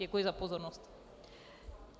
Děkuji za pozornost.